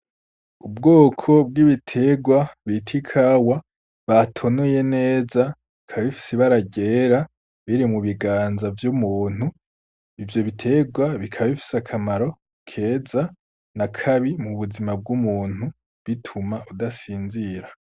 Ubwoko bw'ibiterwa bita ikawa, batonoye neza bikaba bifise ibara ryera biri mu biganza vy'umuntu. Ivyo bitegwa bikaba bifise akamaro keza na kabi mu buzima bw'umuntu bituma udasinzira.